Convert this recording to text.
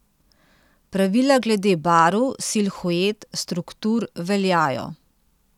Pravila glede barv, silhuet, struktur veljajo.